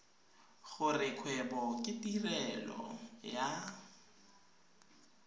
gore kgwebo ke tirelo ya